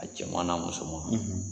A cɛman n'a musoman,